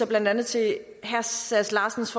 blandt andet til herre sass larsens